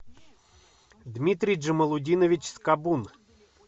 дмитрий джамалутдинович скобун